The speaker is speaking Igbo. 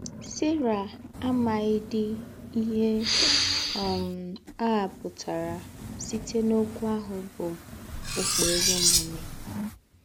Sera àmàghídí íhè um á pụ̀tàrà sītè n’òkwú áhụ̀ bụ́ ‘ụ́kpèrè ōmùmè